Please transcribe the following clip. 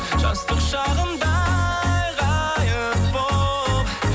жастық шағымдай ғайып болып